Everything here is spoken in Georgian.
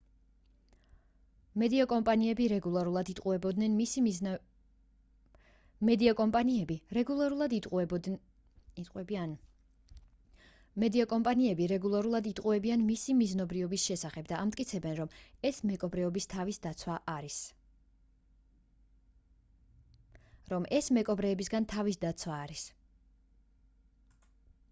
მედია კომპანიები რეგულარულად იტყუებიან მისი მიზნობრიობის შესახებ და ამტკიცებენ რომ ეს მეკობრეებისგან თავის დაცვა არის